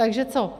Takže co?